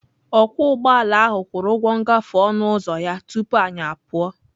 Ọkwọ ụgbọala ahụ kwụrụ ụgwọ ngafe onụ uzọ ya tupu anyị apụọ.